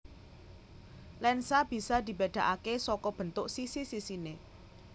Lensa bisa dibedakake saka bentuk sisi sisine